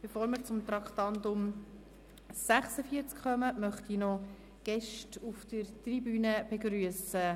Bevor wir zum Traktandum 46 kommen, möchte ich noch Gäste auf der Tribüne begrüssen.